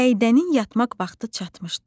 Səidənin yatmaq vaxtı çatmışdı.